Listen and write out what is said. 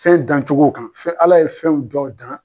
Fɛn dancogow kan fɛn Ala ye fɛnw dɔw dan.